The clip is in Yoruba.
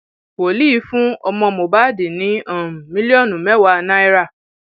wòlíì fún ọmọ mohbad ní um mílíọnù mẹwàá náírà